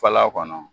Fala kɔnɔ